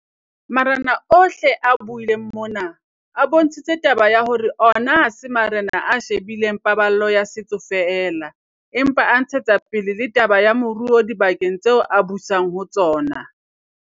Marena ohle a buileng mona, a bontshitse taba ya hore ona ha se marena a she bileng paballo ya setso feela, empa a ntshetsa pele le taba ya moruo dibakeng tseo a busang ho tsona.